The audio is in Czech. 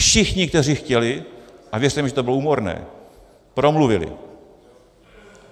Všichni, kteří chtěli, a věřte mi, že to bylo úmorné, promluvili.